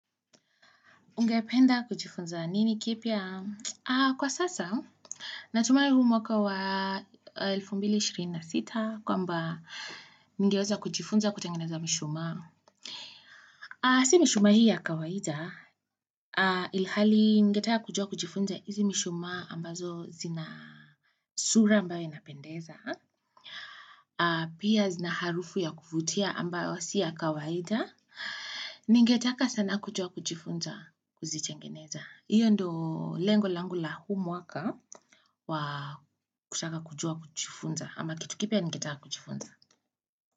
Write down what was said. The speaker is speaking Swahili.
Ungependa kujifunza nini kipya? Kwa sasa, natumai huu mwaka wa 2026 kwamba ningeweza kujifunza kutengeneza mishuma. Si mishuma hii ya kawaida, ilhali ningeteka kujua kujifunza hizi mishuma ambazo zina sura ambayo inapendeza. Pia zina harufu ya kuvutia ambayo si ya kawaida. Ningetaka sana kujua kujifunza kuzitengeneza. Hiyo ndio lengo langu la huu mwaka wa kutaka kujua kujifunza ama kitu kipya nikitaka kujifunza.